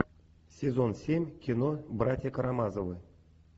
сезон семь кино братья карамазовы